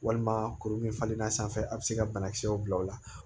Walima kuru min falenna sanfɛ a bɛ se ka banakisɛw bila ola